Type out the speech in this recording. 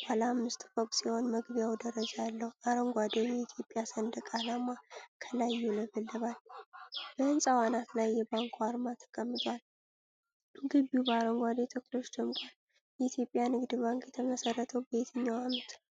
ባለ አምስት ፎቅ ሲሆን መግቢያው ደረጃ አለው። አረንጓዴው የኢትዮጵያ ሰንደቅ ዓላማ ከላይ ይውለበለባል። በሕንፃው አናት ላይ የባንኩ አርማ ተቀምጧል። ግቢው በአረንጓዴ ተክሎች ደምቋል። የኢትዮጵያ ንግድ ባንክ የተመሰረተው በየትኛው ዓመት ነው?